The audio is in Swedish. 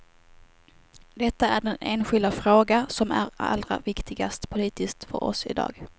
Detta är den enskilda fråga som är allra viktigast politiskt för oss i dag.